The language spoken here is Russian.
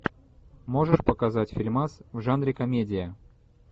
можешь показать фильмас в жанре комедия